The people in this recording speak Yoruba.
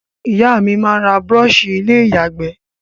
Ìyá mí n ra brush ilé ìyàgbé